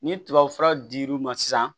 Ni tubabu fura dir'u ma sisan